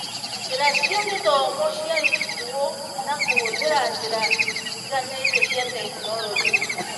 Njĩra cia gĩthomo ciarutirwo na kũhũthĩra njĩra itiganĩte cia tekinoronjĩ